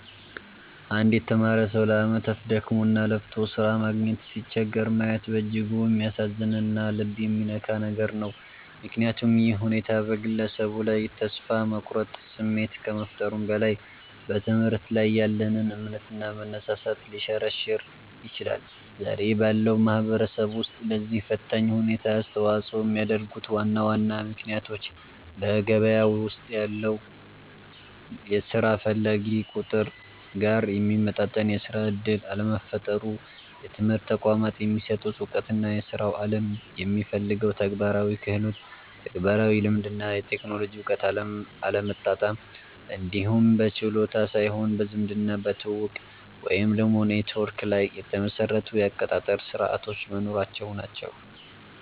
አንድ የተማረ ሰው ለዓመታት ደክሞና ለፍቶ ሥራ ማግኘት ሲቸገር ማየት በእጅጉ የሚያሳዝንና ልብ የሚነካ ነገር ነው፤ ምክንያቱም ይህ ሁኔታ በግለሰቡ ላይ የተስፋ መቁረጥ ስሜት ከመፍጠሩም በላይ፣ በትምህርት ላይ ያለንን እምነትና መነሳሳት ሊሸረሽር ይችላል። ዛሬ ባለው ማህበረሰብ ውስጥ ለዚህ ፈታኝ ሁኔታ አስተዋጽኦ የሚያደርጉት ዋና ዋና ምክንያቶች በገበያው ውስጥ ካለው የሥራ ፈላጊ ቁጥር ጋር የሚመጣጠን የሥራ ዕድል አለመፈጠሩ፣ የትምህርት ተቋማት የሚሰጡት ዕውቀትና የሥራው ዓለም የሚፈልገው ተግባራዊ ክህሎት (ተግባራዊ ልምድ እና የቴክኖሎጂ እውቀት) አለመጣጣም፣ እንዲሁም በችሎታ ሳይሆን በዘመድና በትውውቅ (ኔትወርክ) ላይ የተመሰረቱ የአቀጣጠር ሥርዓቶች መኖራቸው ናቸው።